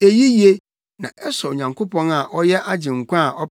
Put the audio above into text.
Eyi ye, na ɛsɔ Onyankopɔn a ɔyɛ Agyenkwa a